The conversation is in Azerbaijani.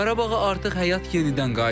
Qarabağa artıq həyat yenidən qayıdır.